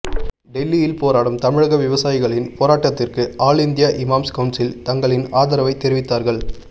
டெல்லியில் போராடும் தமிழக விவசாயிகளின் போராட்டத்திற்கு ஆல் இந்தியா இமாம்ஸ் கவுன்சில் தங்களின் ஆதரவை தெரிவித்தார்கள்